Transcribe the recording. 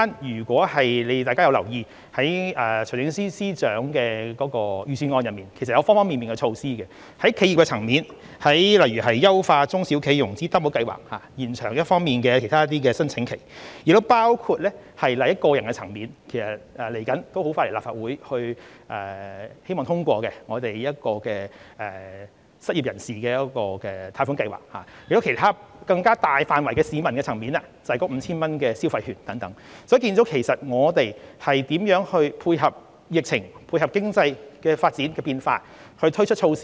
如果大家有留意，財政司司長在預算案中已推出多方面的措施，在企業的層面，例如優化中小企融資擔保計劃、延長其他計劃的申請期，亦包括個人層面有關失業人士的貸款計劃，接着很快便會前來立法會申請撥款，希望獲得通過；其他涉及更多市民的，便是 5,000 元消費券，可見我們如何配合疫情和經濟發展的變化推出措施。